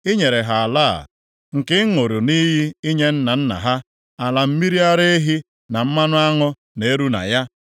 Ị nyere ha ala a, nke ị ṅụrụ nʼiyi inye nna nna ha, ala mmiri ara ehi na mmanụ aṅụ na-eru na ya.